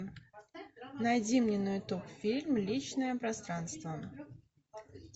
найди мне на ютуб фильм личное пространство